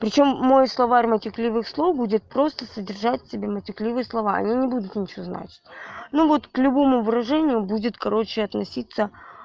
причём мой словарь матерных слов будет просто содержать в себе матерные слова они не будут ничего значить ну вот к любому выражению будет короче относиться